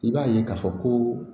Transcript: I b'a ye k'a fɔ koo